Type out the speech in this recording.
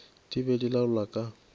di be di laola ka